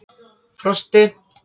Frosti